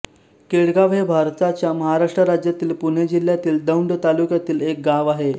केडगाव हे भारताच्या महाराष्ट्र राज्यातील पुणे जिल्ह्यातील दौंड तालुक्यातील एक गाव आहे